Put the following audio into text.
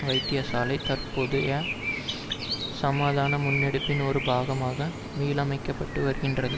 வைத்தியசாலை தற்போதைய சமாதான முன்னெடுப்பின் ஒரு பாகமாக மீளமைக்கப்பட்டு வருகின்றது